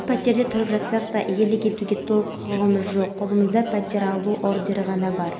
басымдық беретін тағы бір жайт құрылығылар жұмысы қоршаған ортаға қауіпсіз болуы шарт технологияларымызды түрлі сынақтардан